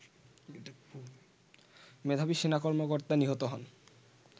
মেধাবী সেনা কর্মকর্তা নিহত হন